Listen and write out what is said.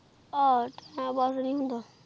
ਹਾਂ ਟੀਮੇ ਪਾਸ ਨੀ ਹੋਂਦਾ